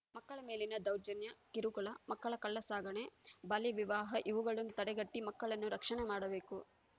ಮಕ್ಕಳ ಮೇಲಿನ ದೌರ್ಜನ್ಯ ಕಿರುಕುಳ ಮಕ್ಕಳ ಕಳ್ಳಸಾಗಣೆಬಾಲ್ಯವಿವಾಹ ಇವುಗಳನ್ನು ತಡೆಗಟ್ಟಿಮಕ್ಕಳನ್ನು ರಕ್ಷಣೆ ಮಾಡಬೇಕು